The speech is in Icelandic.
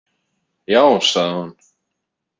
Já, sagði hún.